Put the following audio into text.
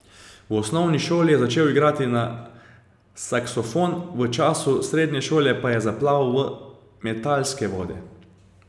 V osnovni šoli je začel igrati na saksofon, v času srednje šole pa je zaplaval v metalske vode.